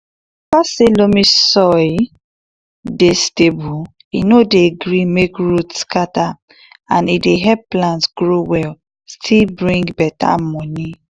because say loamy soil dey stable e no dey gree make root scatter and e dey help plant grow well still bring beta moni